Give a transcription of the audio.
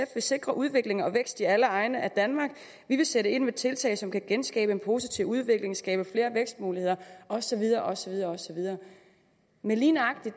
vil sikre udvikling og vækst i alle egne af danmark ved at sætte ind med tiltag som kan genskabe en positiv udvikling skabe flere vækstmuligheder og så videre og så videre men lige nøjagtig